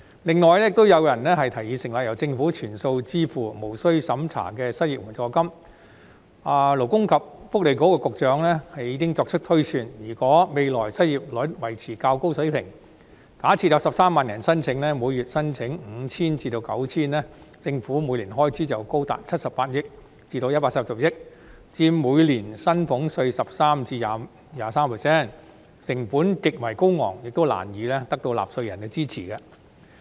此外，亦有人提議成立由政府全數支付、無須審查的失業援助金，勞工及福利局局長已經作出推算，如果未來失業率維持較高水平，假設有13萬人申請，每月領取 5,000 元或 9,000 元，政府每年的開支便高達78億元或140億元，佔每年薪俸稅的 13% 或 23%， 成本極為高昂，亦難以得到納稅人的支持。